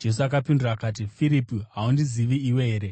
Jesu akapindura akati, “Firipi, haundizivi iwe here,